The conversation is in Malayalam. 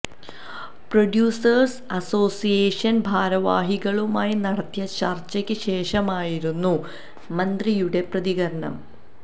പ്രൊഡ്യൂസേഴ്സ് അസോസിയേഷൻ ഭാരവാഹികളുമായി നടത്തിയ ചർച്ചയ്ക്ക് ശേഷമായിരുന്നു മന്ത്രിയുടെ പ്രതികരണം